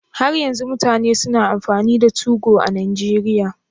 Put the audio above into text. Har yanzu mutane suna amfani da Tugo a Najeriya?